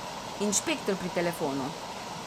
Inšpektor pri telefonu.